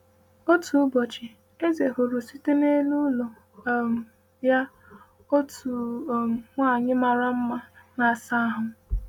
Otu ụbọchị, eze hụrụ site n’elu ụlọ um ya otu um nwaanyị mara mma na-asa ahụ.